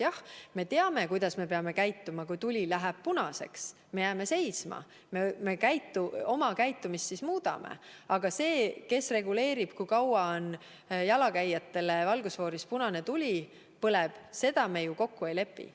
Jah, me teame, kuidas me peame käituma – kui tuli läheb punaseks, siis me jääme seisma, st me muudame oma käitumist –, aga seda, kes reguleerib, kui kaua jalakäijatele valgusfooris punane tuli põleb, me ju kokku ei lepi.